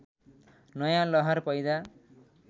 नयाँ लहर पैदा